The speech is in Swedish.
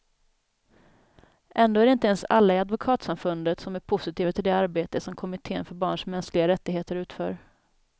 Ändå är det inte ens alla i advokatsamfundet som är positiva till det arbete som kommittén för barns mänskliga rättigheter utför.